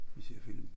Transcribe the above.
Vi ser film